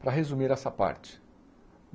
Para resumir essa parte.